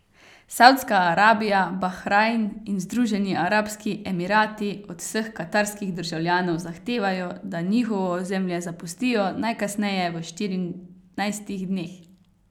Saudska Arabija, Bahrajn in Združeni arabski emirati od vseh katarskih državljanov zahtevajo, da njihovo ozemlje zapustijo najkasneje v štirinajstih dneh.